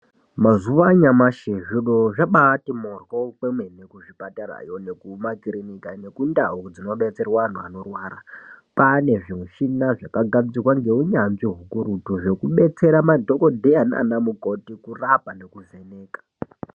Mazuwa anyamashi zviro ,vabati mhoryo kwemene kuzvipatarayo nekumakirinika nekundau dzinodetserwa antu anorwara kwane zvimuchina zvakanasirwa ngeunyanzvi ukurutu zvekudetsera madhokodheya nanamukoti kurapa nekuvheneka.